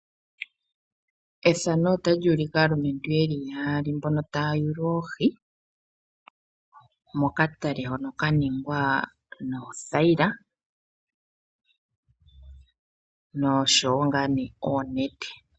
Uunene aalumentu oyo haya yula oohi momatale uuna yahala okulya oohi nenge yahala okukalanditha oohi opo yamonemo iiyemo yontumba.